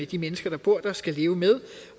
de mennesker der bor der skal leve med